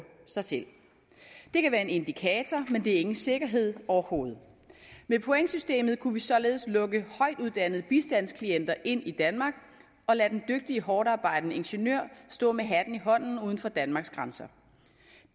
sig selv det kan være en indikator men det er ikke en sikkerhed overhovedet med pointsystemet kunne vi således lukke højtuddannede bistandsklienter ind i danmark og lade den dygtige hårdtarbejdende ingeniør stå med hatten i hånden uden for danmarks grænser